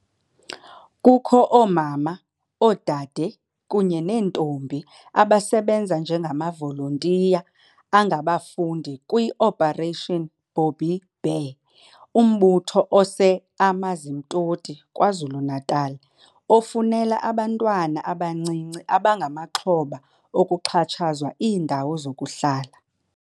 Kukho oomama, oodade kunye neentombi abasebenza njengamavolontiya angabafundi kwi-Operation Bobbi Bear, umbutho ose-Amanzimtoti KwaZulu-Natal ofunela abantwana abancinci abangamaxhoba okuxhatshazwa iindawo zokuhlala.